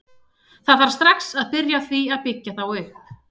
Það þarf strax að byrja á því að byggja þá upp.